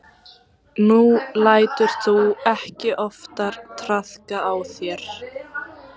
Nú lætur þú ekki oftar traðka á þér.